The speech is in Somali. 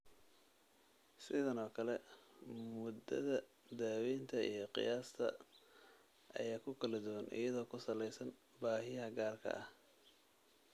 Sidan oo kale, muddada daawaynta iyo qiyaasta ayaa ku kala duwan iyadoo ku saleysan baahiyaha gaarka ah.